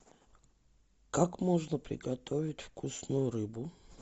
как можно приготовить вкусную рыбу